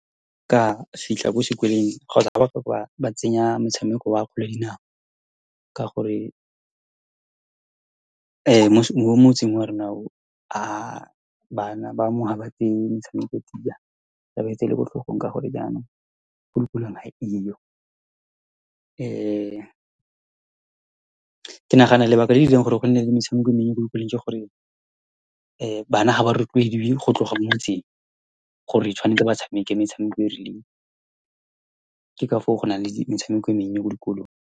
Ka fitlha kwa sekolong kgotsa ha ba tsenya motshameko wa kgwele ya dinao, ka gore , mo motseng o wa rona o , bana ba mo ha ba tseye metshameko tsia, ha ba e tseele ko tlhogong. Ka gore jaanong, ko dikolong ga e yo , ke nagana lebaka le le dirang gore go nne le metshameko e mennye ko dikolong ke gore , bana ha ba rotloediwe go tloga mo motseng gore tshwanetse ba tshameke metshameko e e rileng. Ke ka foo go nang le metshameko e mennye ko dikolong.